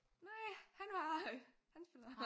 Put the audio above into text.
Nej! Han var øh han spiller